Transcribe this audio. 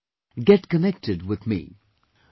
Come, get connected with me